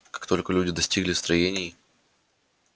как только люди достигли строений